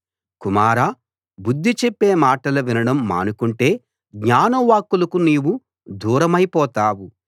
కుమారా బుద్ధి చెప్పే మాటలు వినడం మానుకుంటే జ్ఞాన వాక్కులకు నీవు దూరమై పోతావు